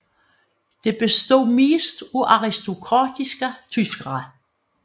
Det bestod mest af aristokratiske tyskere